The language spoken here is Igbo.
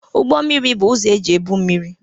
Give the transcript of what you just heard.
Ụgbọ mmiri. Bụ ụzọ eji ebu mmiri,